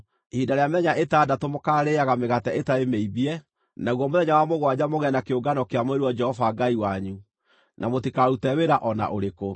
Ihinda rĩa mĩthenya ĩtandatũ mũkaarĩĩaga mĩgate ĩtarĩ mĩimbie, naguo mũthenya wa mũgwanja mũgĩe na kĩũngano kĩamũrĩirwo Jehova Ngai wanyu, na mũtikarute wĩra o na ũrĩkũ.